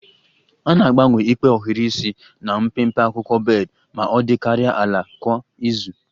A na-agbanwe ikpe ohiri isi na mpempe akwụkwọ bed ma ọ dịkarịa ala kwa izu